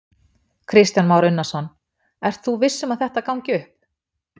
Kristján Már Unnarsson: Ert þú viss um að þetta gangi upp?